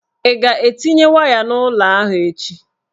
Ị ga-etinye waya n'ụlọ ahụ echi?